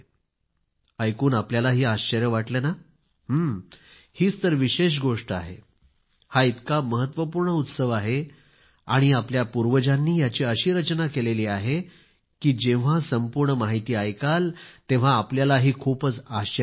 ऐकून आपल्यालाही आश्चर्य वाटले ना हं हीच तर विशेष गोष्ट आहे हा इतका महत्वपूर्ण उत्सव आहे आणि आपल्या पूर्वजांनी याची अशी रचना केलेली आहे की जेव्हा संपूर्ण माहिती ऐकाल तेव्हा आपल्यालाही खूपच आश्चर्य वाटेल